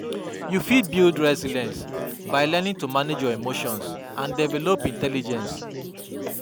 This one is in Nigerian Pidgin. You fit build resilience by learning to manage your emotions and develop intelligence.